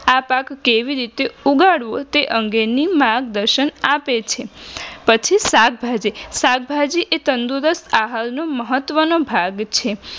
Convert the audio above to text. આ પાક કેવી રીતે ઉગાડવું તે અંગેની માર્ગદર્શન આપે છે પછી શાકભાજી શાકભાજી એ તંદુરસ્ત આહારનું મહતમ ભાગ છે